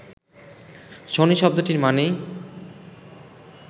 শনি শব্দটির মানেই